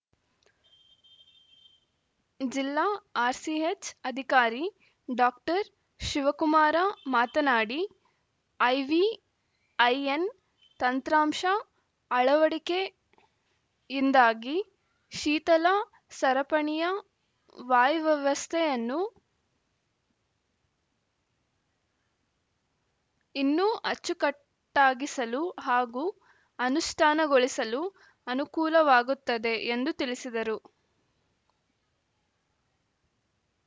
ಜಿಲ್ಲಾ ಆರ್‌ಸಿಎಚ್‌ ಅಧಿಕಾರಿ ಡಾಶಿವಕುಮಾರ ಮಾತನಾಡಿ ಐವಿಐಎನ್‌ ತಂತ್ರಾಂಶ ಅಳವಡಿಕೆಯಿಂದಾಗಿ ಶೀತಲ ಸರಪಣಿಯ ವಾಯ್ ವ್ಯವಸ್ಥೆಯನ್ನು ಇನ್ನೂ ಅಚ್ಚುಕಟ್ಟಾಗಿಸಲು ಹಾಗೂ ಅನುಷ್ಟಾನಗೊಳಿಸಲು ಅನುಕೂಲವಾಗುತ್ತದೆ ಎಂದು ತಿಳಿಸಿದರು